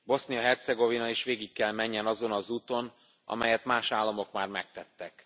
Bosznia Hercegovina is végig kell menjen azon az úton, amelyet más államok már megtettek.